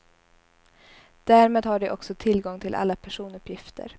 Därmed har de också tillgång till alla personuppgifter.